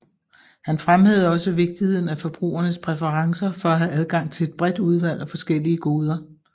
Han fremhævede også vigtigheden af forbrugernes præferencer for at have adgang til et bredt udvalg af forskellige goder